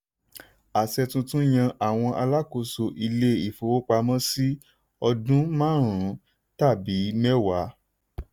àṣẹ tuntun yàn àwọn alákóso ilé-ifowopamọ́ sí ọdún márùn-ún tàbí mẹ́wàá.